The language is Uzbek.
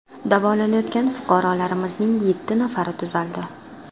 Davolanayotgan fuqarolarimizning yetti nafari tuzaldi.